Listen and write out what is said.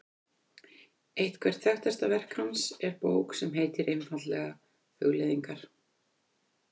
Eitthvert þekktasta verk hans er bók sem heitir einfaldlega Hugleiðingar.